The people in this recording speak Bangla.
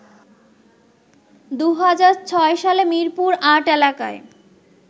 ২০০৬ সালে মিরপুর-৮ এলাকায়